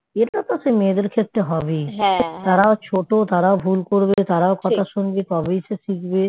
এটাতো সে মেয়েদের ক্ষেত্রে হবেই তারাও ছোট তারাও ভুল করবে তারাও কথা শুনবে তবেই সে শিখবে